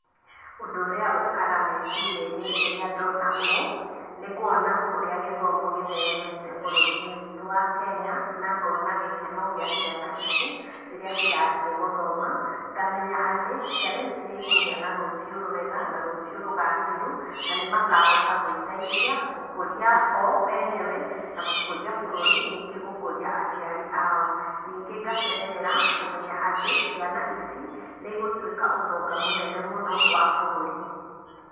Ũndũ ũrĩa ũkaga meciria-inĩ rĩrĩa ndona ũũ, nĩ kuona ũrĩa gĩthomo gĩtheremete bũrũri-inĩ witũ wa Kenya, na ngona gĩkeno gĩa ciana ici, rĩrĩa cirathiĩ gũthoma, ngamenya atĩ, ciana ici nĩikũgĩa na rũciũ rwega, na rũciũ rũgacĩru, na nĩ makahota gwĩteithia gũkũria o enyewe , na gũkũria bũrũri, ningĩ gũkũria aciari ao. Ningĩ ngakenerera kũmenya atĩ ciana ici, nĩigũtuĩka ũtonga mũnene mũno wa bũrũri.